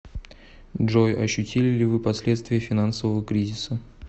джой ощутили ли вы последствия финансового кризиса